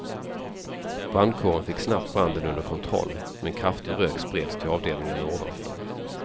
Brandkåren fick snabbt branden under kontroll men kraftig rök spreds till avdelningarna ovanför.